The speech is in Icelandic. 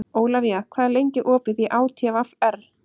Ólafía, hvað er lengi opið í ÁTVR?